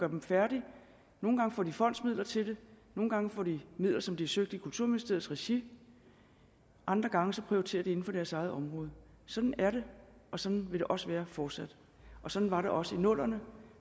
dem færdige nogle gange får de fondsmidler til det nogle gange får de midler som de har søgt i kulturministeriets regi og andre gange prioriterer de inden for deres eget område sådan er det og sådan vil det også være fortsat og sådan var det også i nullerne